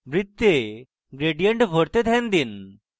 বৃত্তে gradient ভরতে ধ্যান দিন